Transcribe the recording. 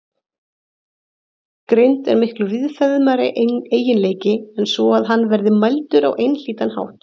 Greind er miklu víðfeðmari eiginleiki en svo að hann verði mældur á einhlítan hátt.